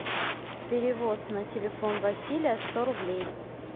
перевод на телефон василия сто рублей